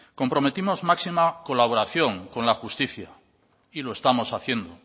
comprometimos máxima colaboración con la justicia y lo estamos haciendo